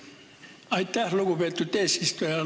Aitäh, lugupeetud eesistuja!